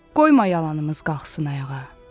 Qoyma yalanımız qalxsın ayağa.